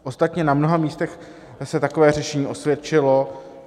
Ostatně na mnoha místech se takové řešení osvědčilo.